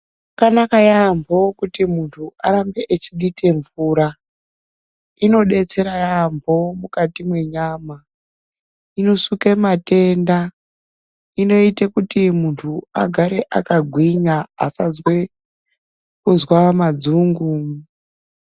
Zvakanaka yambo kuti muntu arambe achibika mvura zvinodetsera yambo mukati menyama inosuka matenda inoita kuti muntu agare akagwinya asazwe kunzwa madzungu.